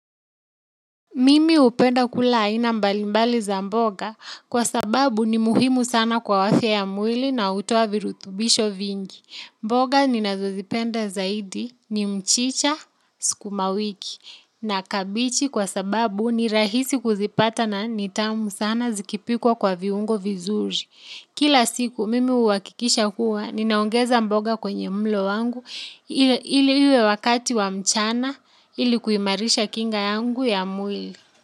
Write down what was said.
Mimi hupenda kula aina mbalimbali za mboga kwa sababu ni muhimu sana kwa afya ya mwili na hutoa virutubisho vingi. Mboga ninazozipenda zaidi ni mchicha sukumawiki na kabichi kwa sababu ni rahisi kuzipata na nitamu sana zikipikwa kwa viungo vizuri. Kila siku mimi huhakikisha huwa, ninaongeza mboga kwenye mlo wangu ili iwe wakati wa mchana ili kuimarisha kinga yangu ya mwili.